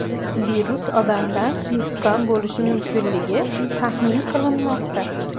Virus odamdan yuqqan bo‘lishi mumkinligi taxmin qilinmoqda.